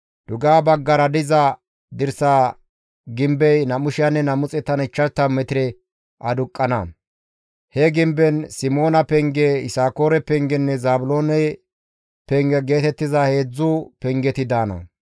Dugeha baggara diza dirsa gimbey 2,250 metire aduqqana; he gimben Simoona penge, Yisakoore pengenne Zaabiloone penge geetettiza heedzdzu pengeti daana.